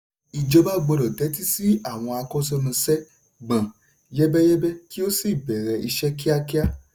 ìjọba gbọ́dọ̀ tẹ̀tí sí àwọn akọ́ṣẹ́mọṣẹ́ gbọ̀n yẹ́bẹ́yẹ́bẹ́ kí ó sì bẹ̀rẹ̀ ìṣe kíákíá.